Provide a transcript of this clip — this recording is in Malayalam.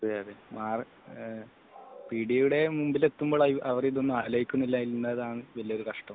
അതെയതെ പീടികയുടെ മുന്നിൽ എത്തുമ്പോൾ അവർ ഇതൊന്നും ആലോചിക്കുന്നില്ല എന്നതാണ് വലിയൊരു കഷ്ടം